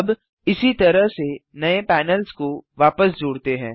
अब इसी तरह से नये पैनल्स को वापस जोड़ते हैं